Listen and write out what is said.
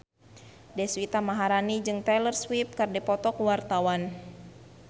Deswita Maharani jeung Taylor Swift keur dipoto ku wartawan